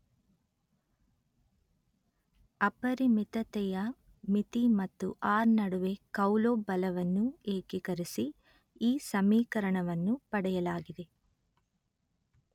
ಅಪರಿಮಿತತೆಯ ಮಿತಿ ಮತ್ತು ಆರ್_letter-en ನಡುವೆ ಕೌಲೊಬ್ ಬಲವನ್ನು ಏಕೀಕರಿಸಿ ಈ ಸಮೀಕರಣವನ್ನು ಪಡೆಯಲಾಗಿದೆ